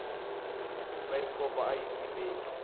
bayisikopo aya tiveki